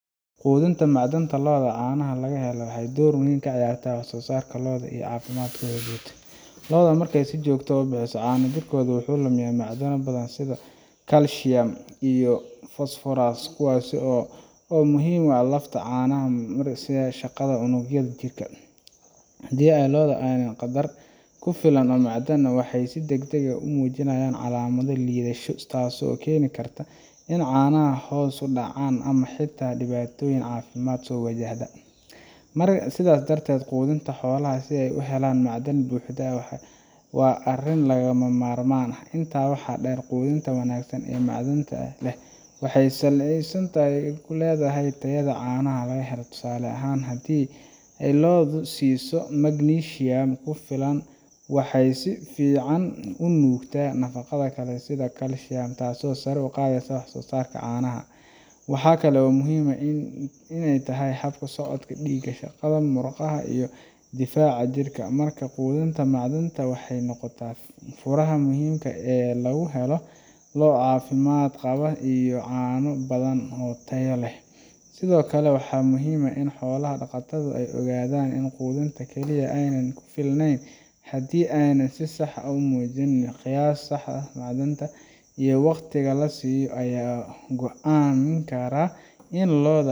Quudinta macdanta lo’da caanaha laga helo waxay door weyn ka ciyaartaa wax-soo-saarka lo’da iyo caafimaadkooda guud. Lo’da markay si joogto ah u bixiso caano, jidhkooda wuxuu lumiyaa macdano badan sida calcium iyo phosphorus kuwaas oo muhiim u ah lafta, caanaha iyo shaqada unugyada jidhka. Haddii lo'da aanay helin qadar ku filan oo macdan ah, waxay si degdeg ah u muujinayaan calaamado liidasho, taasoo keeni karta in caanaha hoos u dhacaan ama xitaa ay dhibaatooyin caafimaad soo wajahaan. Sidaa darteed, quudinta xoolaha si ay u helaan macdan buuxda waa arrin lagama maarmaan ah. Intaa waxaa dheer, quudinta wanaagsan ee macdanta leh waxay saameyn fiican ku leedahay tayada caanaha la helo. Tusaale ahaan, haddii lo’da la siiyo magnesium ku filan, waxay si fiican u nuugtaa nafaqada kale sida calcium, taasoo sare u qaadaysa wax-soo-saarka caanaha. Waxa kale oo ay muhiim u tahay hab-socodka dhiigga, shaqada murqaha, iyo difaaca jidhka. Markaa quudinta macdanta waxay noqotaa furaha muhiimka ah ee lagu helo lo' caafimaad qaba iyo caano badan oo tayo leh. Sidoo kale, waxaa muhiim ah in xoola-dhaqatadu ay ogaadaan in quudinta kaliya aanay ku filneyn haddii aanay si sax ah u miisaamin. Qiyaasta saxda ah ee macdanta iyo wakhtiga la siiyo ayaa go’aamin kara in lo'da